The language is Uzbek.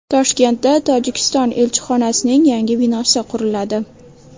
Toshkentda Tojikiston elchixonasining yangi binosi quriladi.